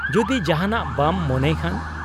-ᱡᱩᱫᱤ ᱡᱟᱦᱟᱱᱟᱜ ᱵᱟᱢ ᱢᱚᱱᱮᱭ ᱠᱷᱟᱱ ᱾